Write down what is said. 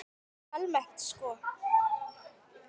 Almennt sko?